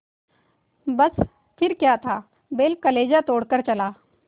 बस फिर क्या था बैल कलेजा तोड़ कर चला